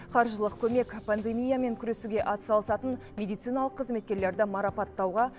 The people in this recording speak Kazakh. қаржылық көмек пандемиямен күресуге атсалысатын медициналық қызметкерлерді марапаттауға